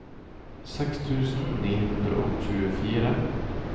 seks tusen ni hundre og tjuefire